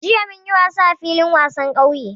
Jiya mun yi wasa a filin wasan ƙauye